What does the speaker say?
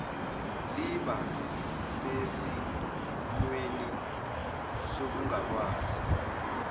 liba sesimweni sokungakwazi